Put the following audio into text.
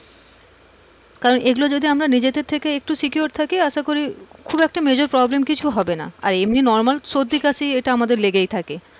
কারণ এগুলো যদি আমরা নিজেদের থেকে secure থাকি আশা করি খুব একটা major problem কিছু হবে না আর এমনি normal সর্দি খাসি এইটা আমাদের লেগেই থাকে।